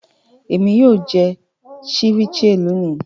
Èmi yóò jẹ ceviche lónì.